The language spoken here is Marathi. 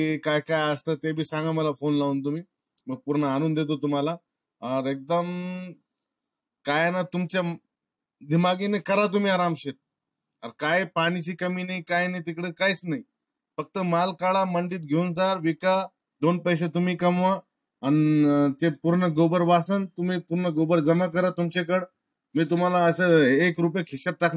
अरे काय पाण्या चि कमी नाय तिकड काय नाय. फक्त माल कडा मंडित घेऊन जा विका. दोन पैसे तुम्ही कमवा अन ते पूर्ण gobar वाचन ते पूर्ण gobar जमा करा तुमच्या कड. मी तुम्हाला अस एक रुपया चा हिशेब टाकणार.